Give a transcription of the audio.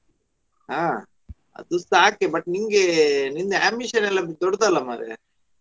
ಹಾ ಅದು ಸಾಕೆ but ನಿಂಗೆ ನಿಂದು ambition ಎಲ್ಲಾ ದೊಡ್ಡದ ಮಾರ್ರೆ.